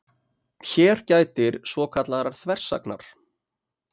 Hér gætir svokallaðrar þversagnar.